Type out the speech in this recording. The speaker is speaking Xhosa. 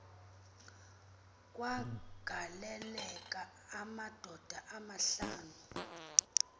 kwagaleleka amadoda amahlanu